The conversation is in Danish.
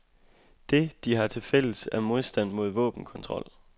Det, de har til fælles, er modstand mod våbenkontrol.